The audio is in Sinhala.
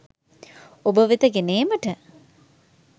ඔබ වෙත ගෙන ඒමට